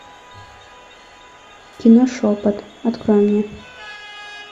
кино шепот открой мне